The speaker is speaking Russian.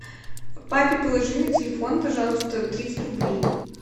папе положи на телефон пожалуйста тридцать рублей